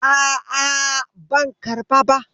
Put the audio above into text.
A'a, ban karɓa ba.